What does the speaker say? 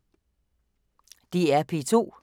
DR P2